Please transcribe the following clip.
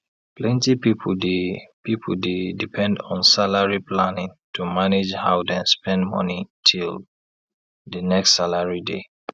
plenty people dey people dey depend on salary planning to manage how dem spend money till the next salary day